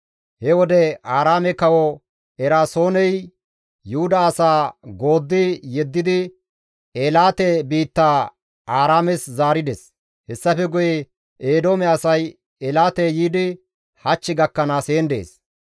He wode Aaraame kawo Eraasooney Yuhuda asaa gooddi yeddidi Eelaate biittaa Aaraames zaarides; hessafe guye Eedoome asay Eelaate yiidi hach gakkanaas heen dees.